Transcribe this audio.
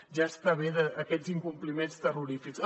ja està bé d’aquests incompliments terrorífics